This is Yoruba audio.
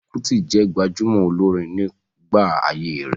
Fẹlá Kútì jẹ́ gbajúmọ̀ olórin nígbà ayé rẹ̀.